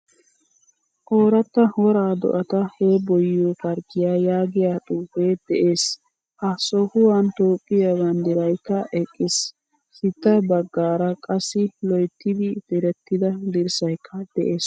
OOrata woraa do'ata heeboyiyo parkkiyaa yaagiyaa xuufe de'ees. Ha sohuwan toophphiyaa banddiraykka eqqiis. Sitta baggaara qassi loyttidi direttida dirssaykka de'ees.